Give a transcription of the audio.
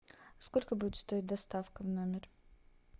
сколько будет стоить доставка в номер